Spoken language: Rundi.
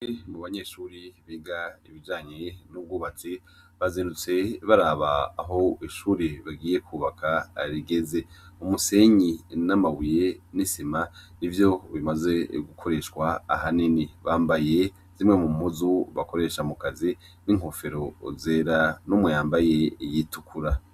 Mu banyeshuri biga ibijanye n'ubwubatsi bazirutse baraba aho ishuri bagiye kubaka arigeze umusenyi namawuye n'isima i vyo bimaze gukoreshwa aha nini bambaye zimwe mu muzu bakoresha mukazi n'inkofero zera no muyambaye iyitukura.